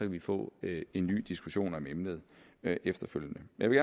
vi få en ny diskussion om emnet efterfølgende jeg vil